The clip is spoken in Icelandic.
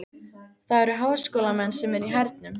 Það eru háskólamenn sem eru í hernum.